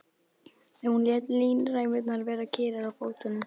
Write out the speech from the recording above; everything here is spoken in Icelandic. Hún lét línræmurnar vera kyrrar á fótunum.